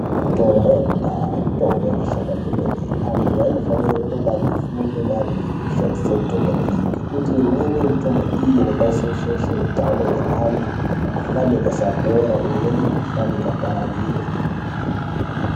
Mitombo yekudhaya mitombo inoshanda kwemene. Antu anofanire kunge ane fundo maringe ngekushandise mitombo iyi, ngekuti imweni yemutombo iyi inokwanise kushaishe utano hweantu mikuhlane ikasapora, imweni mikuhlane ikapararire.